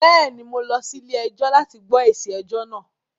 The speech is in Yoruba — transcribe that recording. Bẹ́ẹ̀ ni, mo lọ sí ilé-ẹjọ́ láti gbọ́ èsì ẹjọ náà